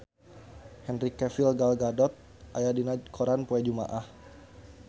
Henry Cavill Gal Gadot aya dina koran poe Jumaah